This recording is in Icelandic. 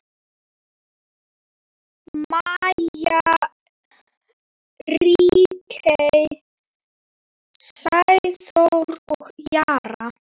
Maja, Ríkey, Sæþór og Jara.